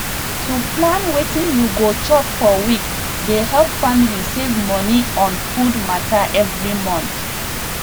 to plan wetin you go chop for week dey help family save moni on food matter every month